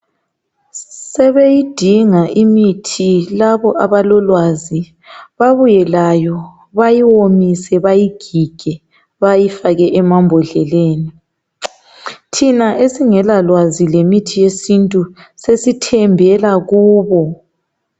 Sebeyidinga imithi labo abalolwazi babuye layo bayiwomise bayigige bayifake emambodleleni thina esingela lwazi lemithi yesintu sesithembela kubo.